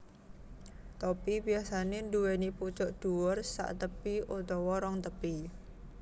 Topi biyasanè nduwèni pucuk dhuwur saktepi utawa rong tepi